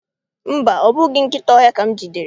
Mba, ọ bụghị nkịta ọhịa ka m jidere.